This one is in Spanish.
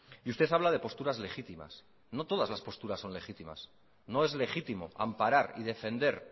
y usted habla de posturas legítimas no todas las posturas son legítimas no es legítimo amparar y defender